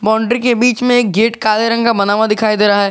Boundary के बीच में एक गेट काले रंग का बना हुआ दिखाई दे रहा है।